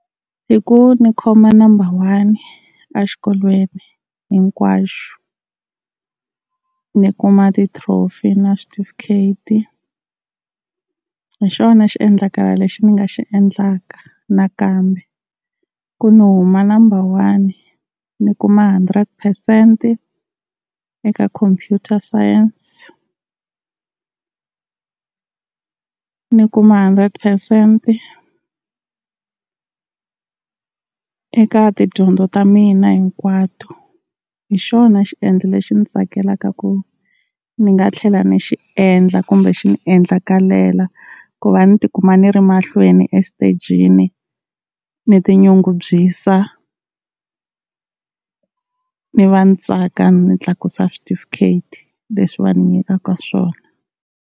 Hi ku ni khoma number one a xikolweni hinkwaxo, ni kuma ti-trophy na switifikheti hi xona xiendlakalo lexi ni nga xi endlaka nakambe ku ni huma number one ni kuma hundred percent eka computer science, ni kuma hundred percent eka tidyondzo ta mina hinkwato, hi xona xiendlo lexi ndzi tsakelaka ku ni nga tlhela ni xi endla kumbe xi ni endlakalela ku va ni ti kuma ni ri mahlweni exitejini. Ni ti nyungubyisa ni va ni tsaka ni tlakusa switifiketi leswi va ni nyikaka swona.